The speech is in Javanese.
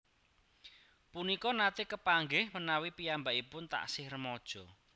Punika nate kepanggih menawi piyambakipun tasih remaja